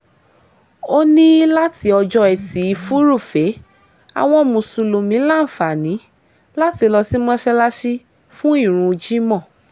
ó ní láti ọjọ́ etí furuufee àwọn mùsùlùmí láǹfààní láti lọ sí mọ́ṣáláàsì fún irun jimoh